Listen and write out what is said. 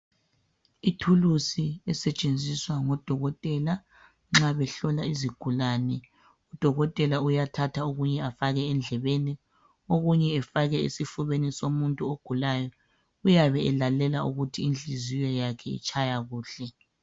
Ithulusi esetshenziswa ngodokotela nxa behlola izigulane, udokotela kuyathatha okunye afake endlebeni okunye afake esifubeni somuntu ogulayo uyabe elalela ukuthi inhliziyo yakhe itshaya kuhle.